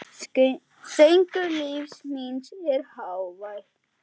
Söngur lífs míns er hávær.